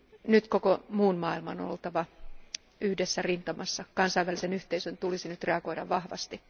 Nyt koko muun maailman on oltava yhdessä rintamassa, kansainvälisen yhteisön tulisi nyt reagoida vahvasti.